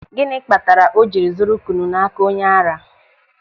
Gịnị kpatara o jiri zụrụ kwụnụ n'aka onye ara?